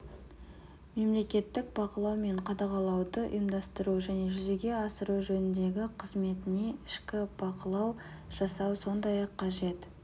мемлекеттік бақылау мен қадағалауды ұйымдастыру және жүзеге асыру жөніндегі қызметіне ішкі бақылау жасау сондай-ақ қажет